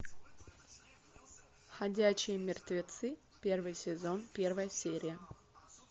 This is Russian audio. ходячие мертвецы первый сезон первая серия